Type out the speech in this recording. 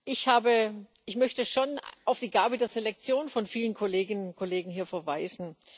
Ich möchte schon auf die Gabe der Selektion von vielen Kolleginnen und Kollegen hier verweisen.